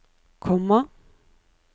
komma